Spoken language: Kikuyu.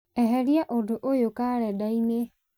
eheria ũndũ ũyũ karenda-inĩ